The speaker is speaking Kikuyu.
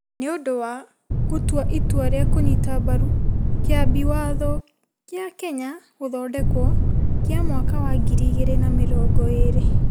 Nĩ ũndũ wa gũtua itua rĩa kũnyita mbaru Kĩambi Watho kĩa Kenya (Gũthondekwo) Kĩa mwaka wa ngiri igĩrĩ na mĩrongo erĩ2020 -